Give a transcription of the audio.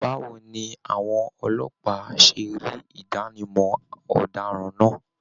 Báwo ni àwọn ọlọ́pàá se rí Idanimọ ọdaràn náà?